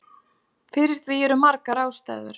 Fyrir því eru margar ástæður.